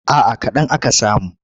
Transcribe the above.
A'a kaɗan aka samu.